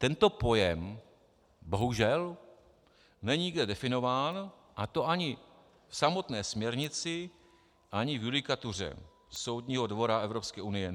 Tento pojem bohužel není nikde definován, a to ani v samotné směrnici, ani v judikatuře Soudního dvora EU.